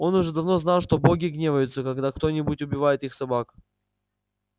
он уже давно знал что боги гневаются когда кто-нибудь убивает их собак